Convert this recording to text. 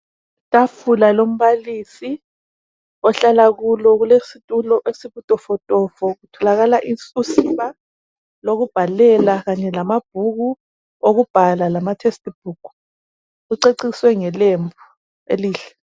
Itafula lombalisi ohlala kulo kulesitulo esibutofotofo kutholakala usiba lokubhala kanye lamabhuku okubhala lamatextbook. Kuceciswe ngelembu elihle.